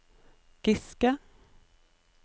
Giske